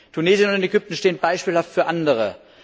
Tunesien und Ägypten stehen beispielhaft für Andere.